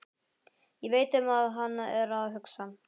Ég veit um hvað hann er að hugsa.